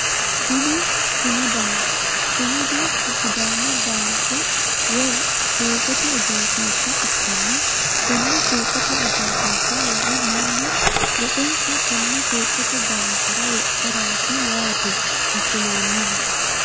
Kuni sumudaho, sumudu k sidaamu baanke woy suuqote egensiishsha ikkanna konne suuqote egensiishsha lae mannu woxensa tenne suuqote baankera wodharaati yaate assinoonnihu